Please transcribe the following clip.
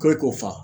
Ko ne k'o fa